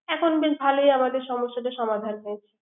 এখন বেশ ভালোই আমাদের সমস্যাটা সমাধান হয়েছে।